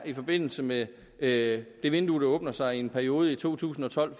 i forbindelse med med det vindue der åbner sig for i en periode i to tusind og tolv